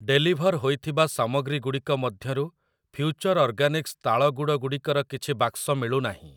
Deliver ହୋଇଥିବା ସାମଗ୍ରୀଗୁଡ଼ିକ ମଧ୍ୟରୁ ଫ୍ୟୁଚର ଅର୍ଗାନିକ୍‌ସ ତାଳ ଗୁଡ଼ ଗୁଡ଼ିକର କିଛି ବାକ୍ସ ମିଳୁନାହିଁ ।